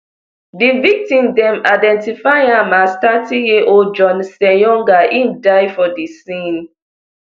di victim dem identify am as thirtyyearold john ssenyonga im die for di scene